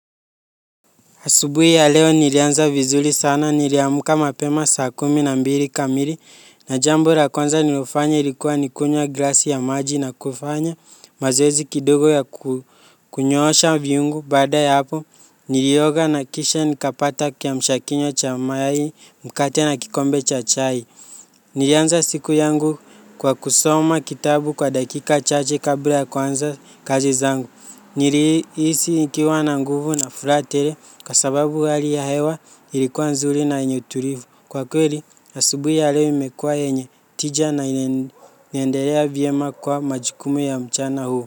Asubuhi ya leo nilianza vizuri sana niliamka mapema saa kumi na mbili kamili na jambo la kwanza nilofanya ilikuwa nikunywa glasi ya maji na kufanya mazoezi kidogo ya kunyosha viungo. Badaa ya hapo nilioga na kisha nikapata kiamsha kinywa cha mayai mkate na kikombe cha chai. Nilianza siku yangu kwa kusoma kitabu kwa dakika chache kabla ya kwanza kazi zangu. Nilihisi nikiwa na nguvu na furaha tele kwasababu hali ya hewa ilikuwa nzuri na yenye utulivu kwa kweli asubui ya leo imekuwa yenye tija na inaendelea vyema kwa majukumu ya mchana huu.